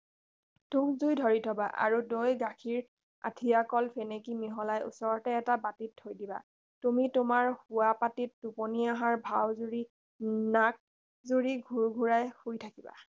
তুঁহ্জুই ধৰি থবা আৰু দৈ গাখীৰ আঠিয়াকল ফেনেকি মিহলাই ওচৰতে এটা বাটিত থৈ দিবা তুমি তোমাৰ শোৱাপাটীত টোপনি অহাৰ ভাও জুৰি নাক জুৰি ঘোৰ্ঘোৰাই শুই থাকিবা